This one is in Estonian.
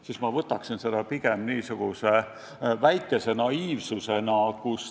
Noh, ma võtaksin seda pigem niisuguse väikese naiivsusena.